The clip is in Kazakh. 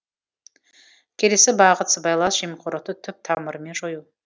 келесі бағыт сыбайлас жемқорлықты түп тамырымен жою